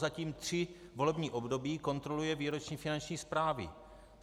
Prozatím tři volební období kontroluje výroční finanční zprávy.